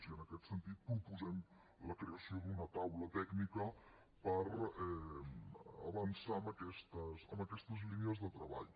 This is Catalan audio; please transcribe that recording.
i en aquest sentit proposem la creació d’una taula tècnica per avançar en aquestes línies de treball